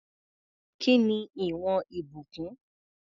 Kí ni ìwọ̀n Ìbùkún?